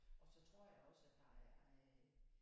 Og så tror jeg også at der er øh